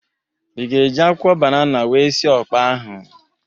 Ị ga-eji akwụkwọ banana wee sị ọkpa ahụ?